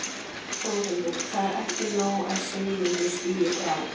Þórhildur: Það er ekki nóg að Sigmundur stígi frá?